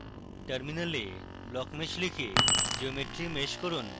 terminal এ blockmesh লিখে geometry mesh করুন